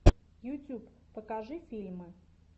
ютьюб покажи фильмы